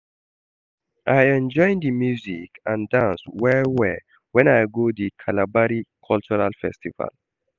I enjoy di music and dance well-well wen I go di Kalabari cultural festival.